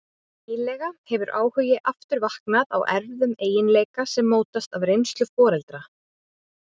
Nýlega hefur áhugi aftur vaknað á erfðum eiginleika sem mótast af reynslu foreldra.